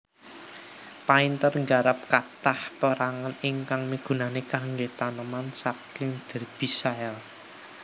Painter nggarap kathah pérangan ingkang migunani kanggé taneman saking Derbyshire